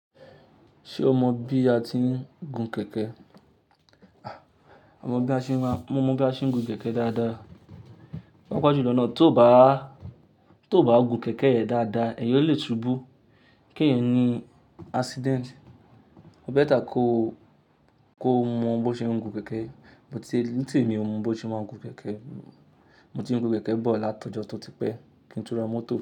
Ṣe o mọ bi a ti ń gun kẹ̀kẹ́? À mò bi àṣẹ mà, mo mọ̀ bi àṣẹ ń gun kẹ̀kẹ́ dáadáa. Pàpájù lọ́nà, tó bá, tó bá gun kẹ̀kẹ́ rẹ̀ dáadáa, ẹ̀yọ́ lè subú bó, kì ẹ̀yẹn ní accident. Ó béètà kó kó mọ̀ bó ṣe ń gun kẹ̀kẹ́, mo ti, ní tì mí ò mọ̀ bó ṣe máa ń gun kẹ̀kẹ́. Mo ti ń gun kẹ̀kẹ́ bọ̀ láti ọjọ́ tó ti pẹ́, kí ń tú ra mọ́tò.